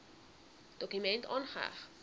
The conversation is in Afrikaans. dokument aangeheg